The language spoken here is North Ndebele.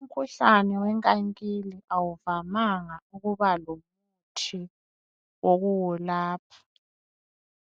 Umkhuhlane wenkankili awuvamanga ukuba lomuthi wokuwulapha.